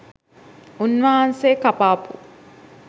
උන්වහන්සේ කපාපු